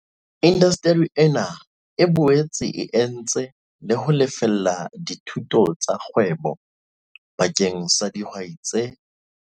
Indasteri ena e boetse e entse le ho lefella dithuto tsa kgwebo bakeng sa dihwai tse